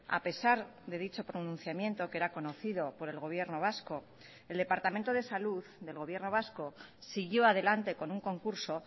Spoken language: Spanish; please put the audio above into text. a pesar de dicho pronunciamiento que era conocido por el gobierno vasco el departamento de salud del gobierno vasco siguió adelante con un concurso